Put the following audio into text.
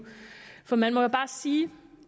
for man må jo bare sige